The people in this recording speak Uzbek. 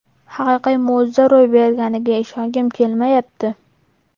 Haqiqiy mo‘jiza ro‘y berganiga ishongim kelmayapti”.